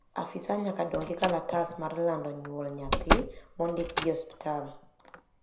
afisa nyaka dong gi kalatas mar lando nyuol nyathi mondik gi osiptal